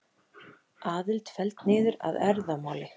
Aðild felld niður að erfðamáli